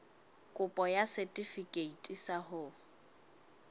kopo ya setefikeiti sa ho